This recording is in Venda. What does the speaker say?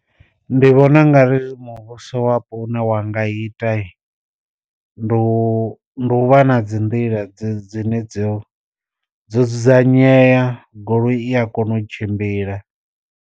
Ndi vhona u nga ri muvhuso wapo une wa nga ita ndi u ndi u vha na dzi nḓila dzi dzine dzo dzo dzudzanyea goloi i a kona u tshimbila.